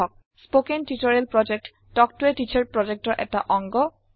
spoken tutorial project talk to a teacher প্ৰজেক্টৰ এটা অংগ